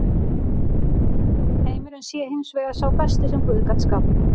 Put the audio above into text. Heimurinn sé hins vegar sá besti sem guð gat skapað.